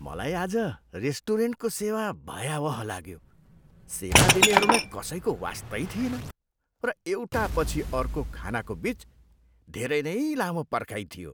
मलाई आज रेस्टुरेन्टको सेवा भयावह लाग्यो। सेवा दिनेहरूलाई कसैको वास्तै थिएन र एउटापछि अर्को खानाको बिच धेरै नै लामो पर्खाइ थियो।